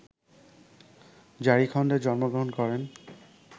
ঝারিখণ্ডে জন্মগ্রহণ করেন